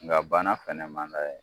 Nka bana fɛnɛ man d'a ye.